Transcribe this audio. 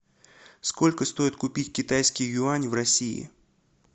сколько стоит купить китайский юань в россии